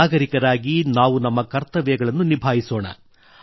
ನಾಗರಿಕರಾಗಿ ನಾವು ನಮ್ಮ ಕರ್ತವ್ಯಗಳನ್ನು ನಿಭಾಯಿಸೋಣ